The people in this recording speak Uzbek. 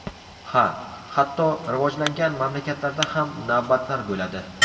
Ha, hatto rivojlangan mamlakatlarda ham navbatlar bo‘ladi.